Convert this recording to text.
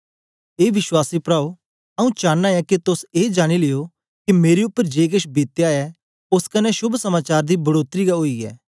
ए विश्वासी प्राओ आऊँ चांना ऐ के तोस ए जानी लियो के मेरे उपर जे केछ बितया ऐ ओस कन्ने शोभ समाचार दी बढ़ोतरी गै ओई ऐ